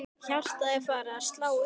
Hjartað er farið að slá örar.